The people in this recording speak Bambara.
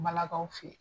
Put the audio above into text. Balakaw fe yen